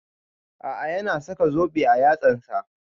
A'a ya na saka zobe a yatsan ta